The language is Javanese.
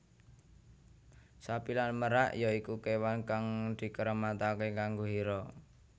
Sapi lan merak ya iku kewan kang dikeramatake kanggo Hera